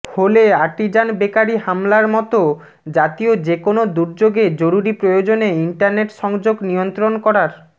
হোলে Artisan Bakery হামলার মতো জাতীয় যেকোনো দূর্যোগে জরুরী প্রয়োজনে ইন্টারনেট সংযোগ নিয়ন্ত্রণ করার